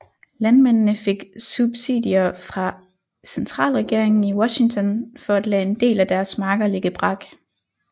Landmændene fik subsidier fra centralregeringen i Washington for at lade en del af deres marker ligge brak